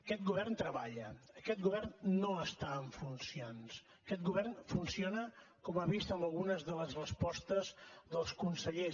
aquest govern treballa aquest govern no està en funcions aquest govern funciona com ha vist en algunes de les respostes dels consellers